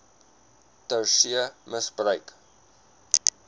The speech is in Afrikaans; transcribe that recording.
ter see misbruik